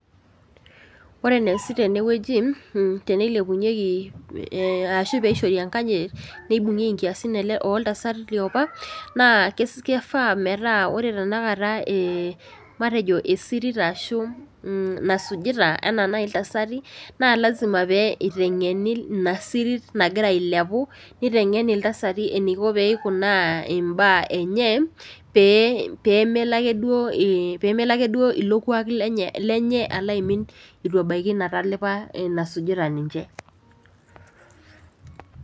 Ore eneesi tenewueji teneilepunyieki arashu piishori enkanyit neibung'ieki inkiasin oltasatai liopa naa keifaa metaa ore tenakata, eh matejo esirit ashu nasujita enaa naaji iltasati naa lazima pee eiteng'eni ina sirit nagira ailepu neiteng'eni iltasati eneiko peikunaa imbaa enye pee pemelo akeduo ilo kuak lenye, lenye alo aimin etu ebaiki ina talipa enasujita ninche.